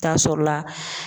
Taa sɔrɔla.